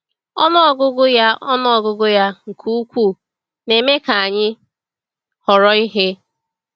Ọnụ ọgụgụ ya Ọnụ ọgụgụ ya nke ukwuu na-eme ka anyị họrọ ihe.